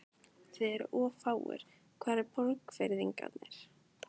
Þið eruð of fáir, hvar eru Borgfirðingarnir?